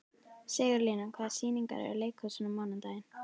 Sigurlína, hvaða sýningar eru í leikhúsinu á mánudaginn?